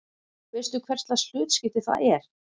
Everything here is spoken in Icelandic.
Veistu hverslags hlutskipti það er?